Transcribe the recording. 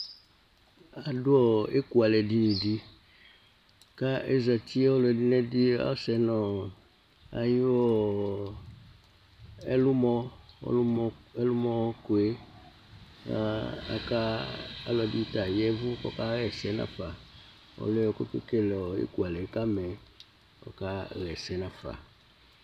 Adu ekualɛ dinidi Azati ku oluɛdini zati nu ayu ɛlumɔ keleetu Ɔlɔdi ta yavukɔka yɛsɛ nava